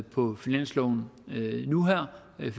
på finansloven nu her det